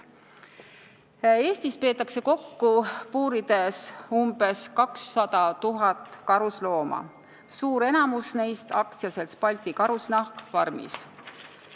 Eestis peetakse puurides umbes 200 000 karuslooma, suur osa neist on AS-i Balti Karusnahk farmis.